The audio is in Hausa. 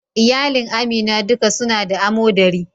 Iyalin Amina duka su na da amodari.